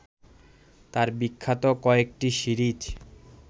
তাঁর বিখ্যাত কয়েকটি সিরিজ